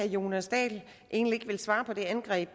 jonas dahl egentlig ikke vil svare på mit angreb